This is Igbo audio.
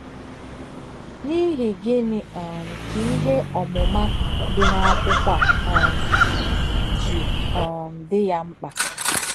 N’ìhì gị̀nị̀ um kà ìhè òmùmà dì n’ákwụ́kwọ̀ à um jí um dì yà m̀kpà?